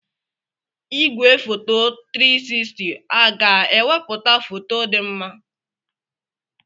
Igwefoto 360 aga-ewepụta foto dị mma?